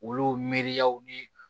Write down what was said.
Olu miiriyaw ni